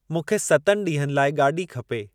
मूंखे सतनि ॾींहनि लाइ गाॾी खपे।